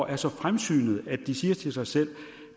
er så fremsynede at de siger til sig selv